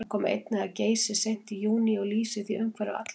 Hann kom einnig að Geysi seint í júní og lýsir því umhverfi allvel.